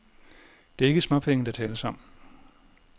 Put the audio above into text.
Det er ikke småpenge, der tales om.